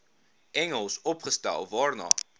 engels opgestel waarna